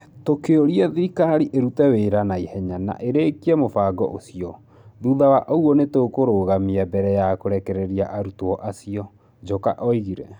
Tũkĩũria thirikari ĩrute wĩra na ihenya na ĩrĩkie mũbango ũcio, thutha wa ũguo nĩ tũkũrũgamia mbere ya kũrekereria arutwo acio", Njoka oigire.